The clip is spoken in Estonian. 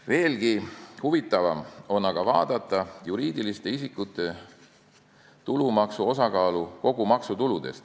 Veelgi huvitavam on aga vaadata juriidiliste isikute tulumaksu osakaalu kogu maksutulus.